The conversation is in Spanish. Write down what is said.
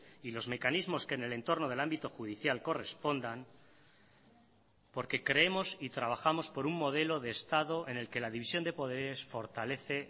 y los mecanismos que en el entorno del ámbito judicial correspondan porque creemos y trabajamos por un modelo de estado en el que la división de poderes fortalece